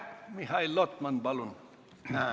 Mihhail Lotman, palun!